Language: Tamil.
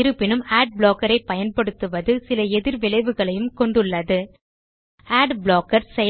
இருப்பினும் அட் ப்ளாக்கர்ஸ் ஐ பயன்படுத்துவது சில எதிர் விளைவுகளையும் கொண்டுள்ளது அட் ப்ளாக்கர்